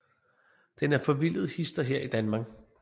Den er forvildet hist og her i Danmark